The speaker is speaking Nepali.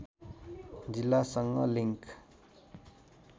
जिल्लासँग लिङ्क